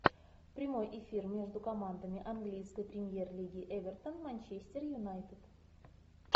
прямой эфир между командами английской премьер лиги эвертон манчестер юнайтед